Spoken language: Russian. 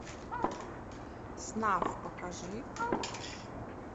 снафф покажи